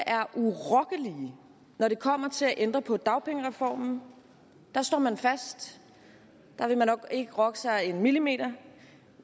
er urokkelige når det kommer til at ændre på dagpengereformen der står man fast der vil man ikke rokke sig en millimeter